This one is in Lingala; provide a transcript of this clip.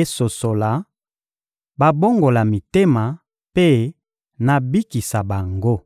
esosola, babongola mitema, mpe nabikisa bango.»